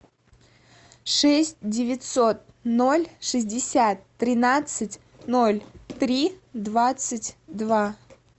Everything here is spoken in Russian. шесть девятьсот ноль шестьдесят тринадцать ноль три двадцать два